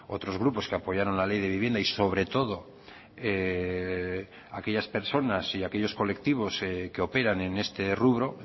otros grupos que apoyaron la ley de vivienda y sobre todo aquellas personas y aquellos colectivos que operan en este rubro